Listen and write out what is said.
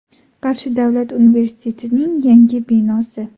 Qarshi davlat universitetining yangi binosi.